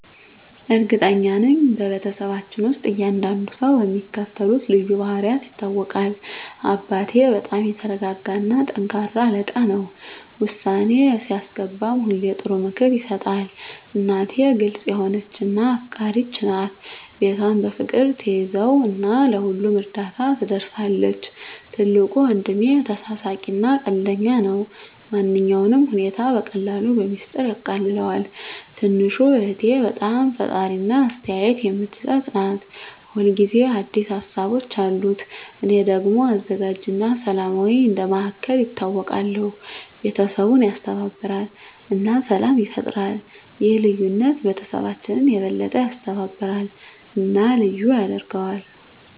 እርግጠኛ ነኝ፤ በቤተሰባችን ውስጥ እያንዳንዱ ሰው በሚከተሉት ልዩ ባህሪያት ይታወቃል - አባቴ በጣም የተረጋጋ እና ጠንካራ አለቃ ነው። ውሳኔ ሲያስገባ ሁሌ ጥሩ ምክር ይሰጣል። **እናቴ** ግልጽ የሆነች እና አፍቃሪች ናት። ቤቷን በፍቅር ትያዘው እና ለሁሉም እርዳታ ትደርሳለች። **ትልቁ ወንድሜ** ተሳሳቂ እና ቀልደኛ ነው። ማንኛውንም ሁኔታ በቀላሉ በሚስጥር ያቃልለዋል። **ትንሹ እህቴ** በጣም ፈጣሪ እና አስተያየት የምትሰጥ ናት። ሁል ጊዜ አዲስ ሀሳቦች አሉት። **እኔ** ደግሞ አዘጋጅ እና ሰላማዊ እንደ መሃከል ይታወቃለሁ። ቤተሰቡን ያስተባብራል እና ሰላም ይፈጥራል። ይህ ልዩነት ቤተሰባችንን የበለጠ ያስተባብራል እና ልዩ ያደርገዋል።